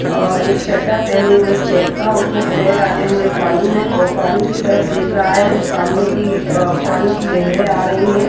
अअ एक चड्ढा पहने हुए चेक का और उसने पैर डाले हुए पानी मे और पानी की तरफ देख रहा है सामने की अ पानी की लहरे आ रही है।